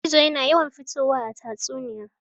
Gizo yana yawan fitowa a tatsuniya.